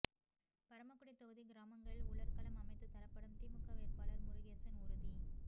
பரமக்குடி தொகுதி கிராமங்களில் உலர்களம் அமைத்து தரப்படும் திமுக வேட்பாளர் முருகேசன் உறுதி